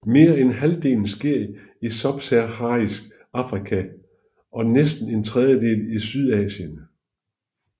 Mere end halvdelen sker i Subsaharisk Afrika og næsten en tredjedel i Sydasien